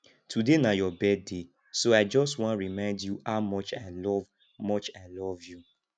today na your birthday so i just wan remind you how much i love much i love you